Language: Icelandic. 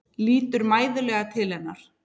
Lítur mæðulega til hennar.